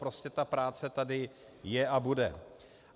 Prostě ta práce tady je a bude.